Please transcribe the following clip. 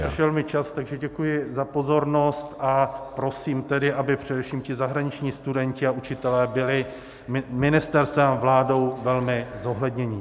Vypršel mi čas, takže děkuji za pozornost a prosím tedy, aby především ti zahraniční studenti a učitelé byli ministerstvem a vládou velmi zohledněni.